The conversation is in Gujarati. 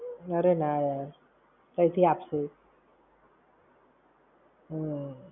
અરે ના યાર. તંઈ થી આપશે એ. હમ્મ